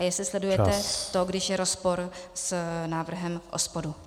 A jestli sledujete to, když je rozpor s návrhem OSPODu.